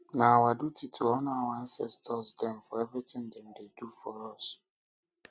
na our duty to honour our ancestor dem for everytin dem do for us